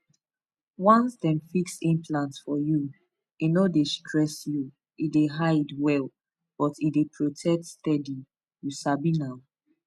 once dem fix implant for you e no dey stress you e dey hide well but e dey protect steady you sabi na